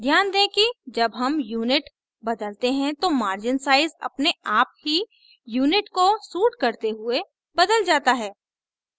ध्यान दें कि जब हम unit बदलते हैं तो margin sizes अपने आप ही unit को suit करते हुए बदल जाता है